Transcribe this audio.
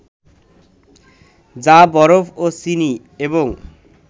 যা বরফ ও চিনি এবং